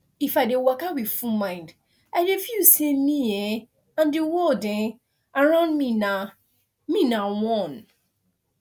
if i dey waka with full mind i dey feel say me um and the world um around me na me na one